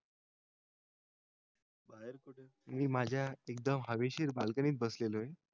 मी माझ्या एकदम हवेशीर balcony त बसलेलो आहे